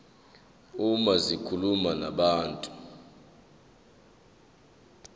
uma zikhuluma nabantu